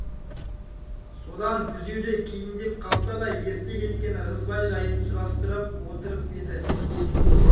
содан күзеуде кейіндеп қалса да ерте кеткен ырғызбай жайын сұрастырып отырып еді